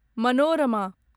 Manorama